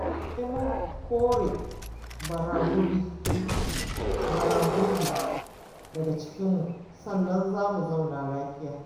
Sai mun kore baragurbi daga cikinmu sannan za mu zauna lafiya.